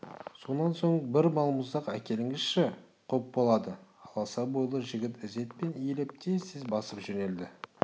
сонан соң бір балмұздақ әкеліңізші құп болады аласа бойлы жігіт ізетпен иіліп тез-тез басып жөнелді